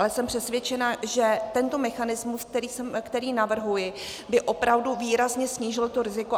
Ale jsem přesvědčená, že tento mechanismus, který navrhuji, by opravdu výrazně snížil to riziko.